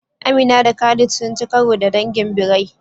Amina da Khalid sun ci karo da dangin birai